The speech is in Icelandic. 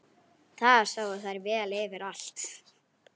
Þar sáu þær vel yfir allt.